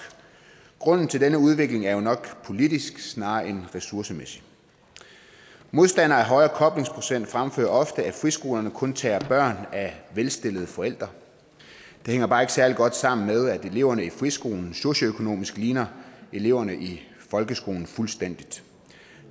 grunden til denne udvikling er jo nok politisk snarere end ressourcemæssig modstandere af en højere koblingsprocent fremfører ofte at friskolerne kun tager børn af velstillede forældre det hænger bare ikke særlig godt sammen med at eleverne på friskolerne socioøkonomisk ligner eleverne i folkeskolen fuldstændig